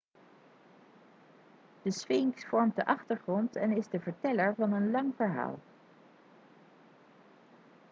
de sfinx vormt de achtergrond en is de verteller van een lang verhaal